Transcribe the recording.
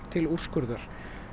til úrskurðar